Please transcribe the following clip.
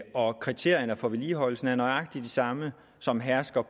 og at kriterierne for vedligeholdelsen er nøjagtig de samme som hersker